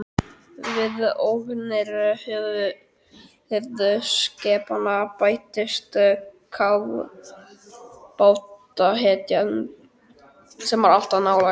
Við ógnir höfuðskepnanna bættist kafbátahættan, sem var alltaf nálæg.